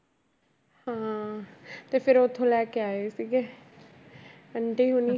ਹਾਂ ਤੇ ਫਿਰ ਉੱਥੋਂ ਲੈ ਕੇ ਆਏ ਸੀਗੇ ਆਂਟੀ ਹੋਣੀ।